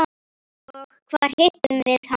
Og hvar hittum við hann?